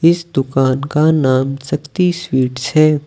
इस दुकान का नाम शक्ति स्वीट्स है।